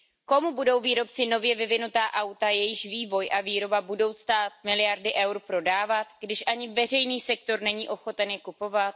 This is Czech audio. Komu budou výrobci nově vyvinutá auta, jejichž vývoj a výroba budou stát miliardy eur, prodávat, když ani veřejný sektor není ochoten je kupovat?